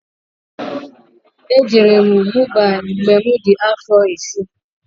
E jere m Mumbai mgbe mụ di afọ isi